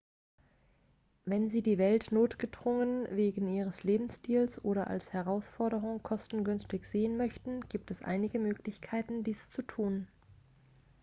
wenn sie die welt notgedrungen wegen ihres lebensstils oder als herausforderung kostengünstig sehen möchten gibt es einige möglichkeiten dies zu tun